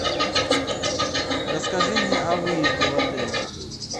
расскажи мне о выезде в отеле